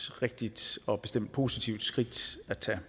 rigtigt og bestemt positivt skridt at tage